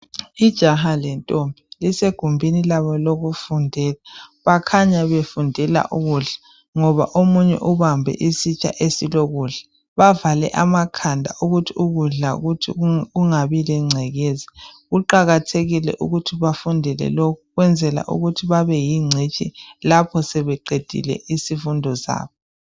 Ijaha lentombi lisegumbini labo lokufundela. Bakhanya befundela ukudla ngoba omunye ubambe isitsha esilokudla, bavale amakhanda ukuthi ukudla kuthi kungabi lengcekeza. Kuqakathekile ukuthi bafundele lokhu ukwenzela ukuthi babe yingcitshi lapho sebeqedile isifundo zabo.